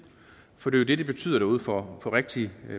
for det det det betyder derude for rigtige